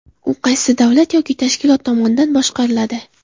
U qaysi davlat yoki tashkilot tomonidan boshqariladi?